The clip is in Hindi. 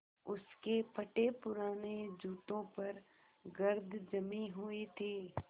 उसके फटेपुराने जूतों पर गर्द जमी हुई थी